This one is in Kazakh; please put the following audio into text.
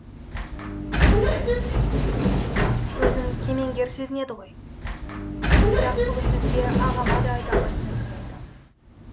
өзін кемеңгер сезінеді ғой бірақ бүгін сізге ағама да айта алмайтын әңгіме айтамын